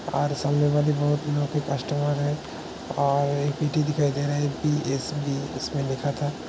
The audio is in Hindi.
सारे कस्टमर हैं और ईटे दिखाई दे रही है जो की इसने लिखा था ।